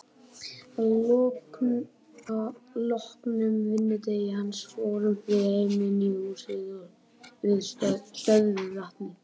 Að loknum vinnudegi hans fórum við heim í húsið við stöðuvatnið.